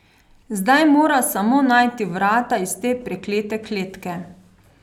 Zdaj mora samo najti vrata iz te preklete kletke.